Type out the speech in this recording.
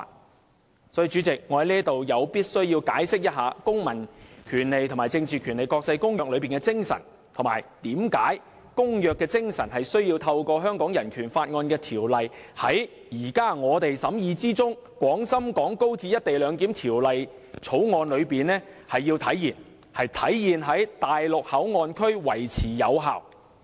因此，代理主席，我在這裏必須解釋《公民權利和政治權利國際公約》中的精神，以及為何公約的精神須透過《人權法案條例》，在我們現在審議的《條例草案》中體現，並在內地口岸區維持有效。